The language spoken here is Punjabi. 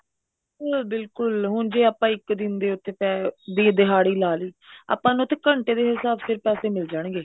ਉਹ ਬਿਲਕੁਲ ਹੁਣ ਜੇ ਆਪਾਂ ਇੱਕ ਦਿਨ ਦੇ ਵਿੱਚ ਵੀ ਦਿਹਾੜੀ ਲਾ ਲਈ ਆਪਾਂ ਨੂੰ ਉੱਥੇ ਘੰਟੇ ਦੇ ਹਿਸਾਬ ਸਿਰ ਪੈਸੇ ਮਿਲ ਜਾਣਗੇ